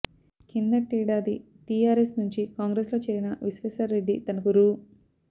కిందటేడాది టీఆర్ఎస్ నుంచి కాంగ్రెస్లో చేరిన విశ్వేశ్వర్ రెడ్డి తనకు రూ